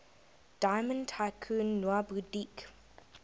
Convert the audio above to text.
diamond tycoon nwabudike